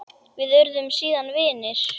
Við urðum síðan vinir.